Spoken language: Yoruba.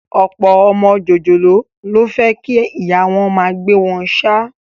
Ọ̀pọ̀ ọmọ jòjòló ló fẹ́ kí ìyá wọn máa gbé wọn ṣáá